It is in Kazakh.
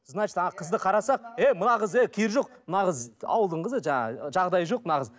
значит ана қызды қарасақ ей мына қыз ей керегі жоқ мына қыз ауылдың қызы жаңағы жағдайы жоқ мына қыздың